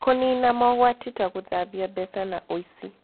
Kũniina mogwati ta gũthambia mbeca na ũici